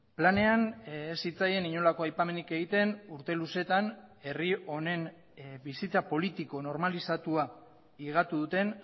planean ez zitzaien inolako aipamenik egiten urte luzeetan herri honen bizitza politiko normalizatua higatu duten